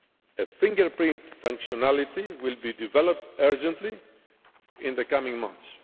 A fingerprint functionality will be developed urgently in the coming months.